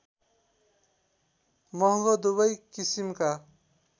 महङ्गो दुवै किसिमका